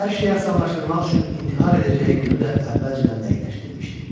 Hər şeyi asanlaşdırmaq üçün intihar edəcəyi günü də əvvəlcədən dəqiqləşdirmişdi.